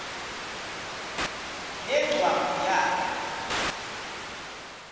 ne ngcwangu yayo